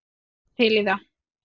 Hann var til í það.